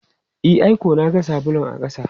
E, ai ko na ga sabulun a ƙasa.